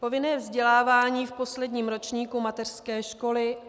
Povinné vzdělávání v posledním ročníku mateřské školy.